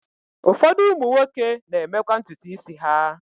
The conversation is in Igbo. Ụfọdụ ụmụ nwoke na-emekwa ntutu isi ha.